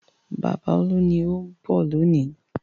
Bàbá Olú ni ó ń bọ̀ lónìí.